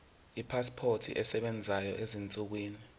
ipasipoti esebenzayo ezinsukwini